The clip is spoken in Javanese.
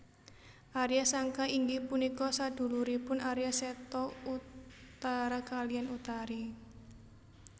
Arya Sangka inggih punika saduluripun Arya Seta Utara kaliyan Utari